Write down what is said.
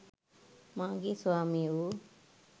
මාගේ ස්වාමී වු